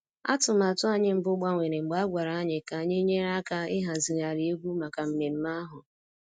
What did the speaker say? Atụmatụ anyị mbụ gbanwere mgbe a gwara anyị ka anyị nyere aka ịhazigharị egwu maka mmemme ahụ